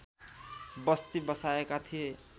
बस्ती बसाएका थिए